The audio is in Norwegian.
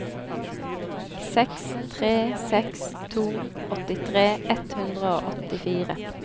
seks tre seks to åttitre ett hundre og åttifire